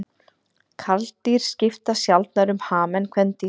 Karldýr skipta sjaldnar um ham en kvendýr.